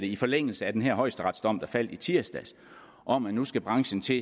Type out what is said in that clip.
i forlængelse af den her højesteretsdom der faldt i tirsdags om at nu skal branchen til